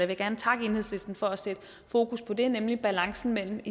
vil gerne takke enhedslisten for at sætte fokus på det nemlig balancen mellem